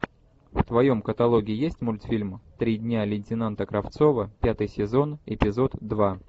в твоем каталоге есть мультфильм три дня лейтенанта кравцова пятый сезон эпизод два